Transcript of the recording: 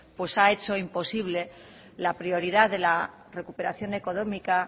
pues ha hecho imposible la prioridad de la recuperación económica